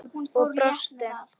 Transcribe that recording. Og brostu.